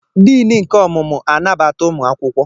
Diini nke ọmụmụ anabata ụmụ akwụkwọ.